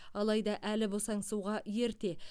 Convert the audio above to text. алайда әлі босаңсуға ерте